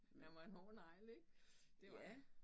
Han var en hård negl ik det var han